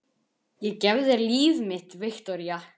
Ég gef þér líf mitt, Viktoría.